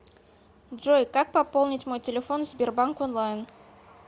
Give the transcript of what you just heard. джой как пополнить мой телефон в сбербанк онлайн